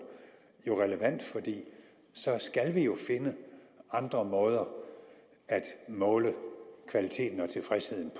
jo relevant for så skal vi finde andre måder at måle kvaliteten og tilfredsheden